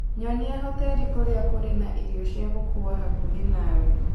nyonia hoteli kũrĩa kũrĩ na irio cia gũkuua hakuhĩ nawe